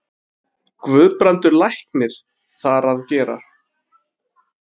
Guðbrandur læknir þar að gera.